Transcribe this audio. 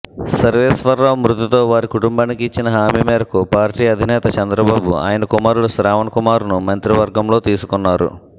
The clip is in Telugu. సర్వేశ్వరరావు మృతితో వారి కుటుంబానికి ఇచ్చిన హామీ మేరకు పార్టీ అధినేత చంద్రబాబు ఆయన కుమారుడు శ్రావణ్కుమార్ను మంత్రివర్గంలోకి తీసుకున్నారు